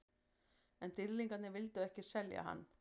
En Dýrlingarnir vildu ekki selja hann.